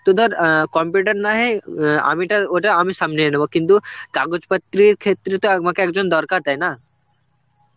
তো ধর অ্যাঁ computer নহে আমি টার ওটা আমি সামলিয়ে নেব কিন্তু কাগজপত্রের ক্ষেত্রে তো আমাকে একজন দরকার, তাই না?